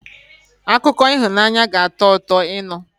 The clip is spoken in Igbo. Akụkọ ịhụnanya ga-atọ ụtọ ịnụ